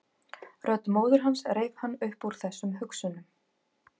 Rödd móður hans reif hann upp úr þessum hugsunum.